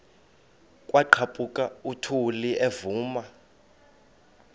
kwaqhaphuk uthuli evuma